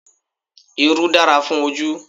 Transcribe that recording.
Irú dára fún ojú